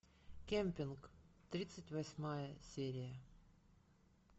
кемпинг тридцать восьмая серия